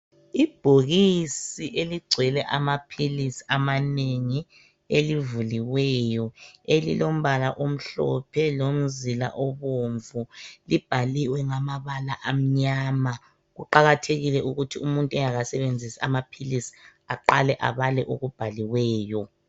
Ibhokisi eligcwele amaphilisi amanengi elivuliweyo elilombala omhlophe lomzila obomvu libhaliwe ngamabala amnyama kuqakathekile ukuthi umuntu engakasebenzisi amaphilisi aqale ebale okubhaliweyo.